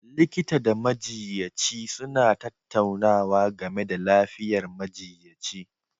Likita da majiyyaci suna tattaunawa game da lafiyar majiyyaci